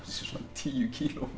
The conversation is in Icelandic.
sig svona tíu kílóum